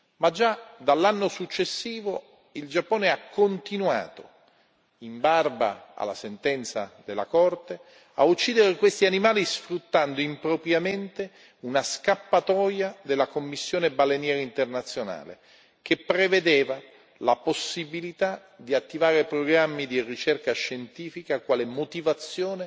Ma già dall'anno successivo il Giappone ha continuato, in barba alla sentenza della Corte, a uccidere questi animali, sfruttando impropriamente una scappatoia della Commissione baleniera internazionale, che prevedeva la possibilità di attivare programmi di ricerca scientifica quale motivazione